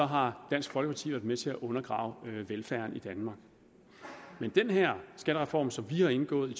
har dansk folkeparti været med til at undergrave velfærden i danmark men den her skattereform som vi har indgået i